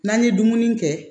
N'an ye dumuni kɛ